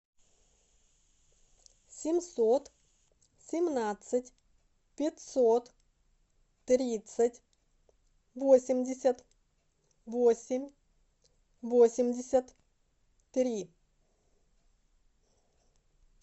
семьсот семнадцать пятьсот тридцать восемьдесят восемь восемьдесят три